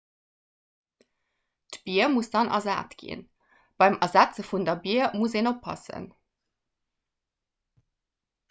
d'bier muss dann ersat ginn beim ersetze vun der bier muss een oppassen